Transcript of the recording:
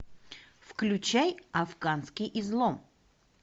включай афганский излом